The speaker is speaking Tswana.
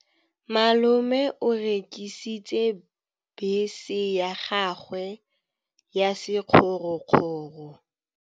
Malome o rekisitse bese ya gagwe ya sekgorokgoro.